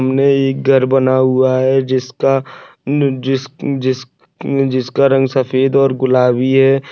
सामने एक घर बना हुआ है जिसका जिस जिस जिसका रंग सफ़ेद और गुलाबी है।